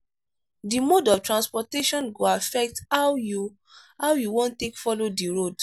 di mode of transportation go affect how you how you wan take follow di road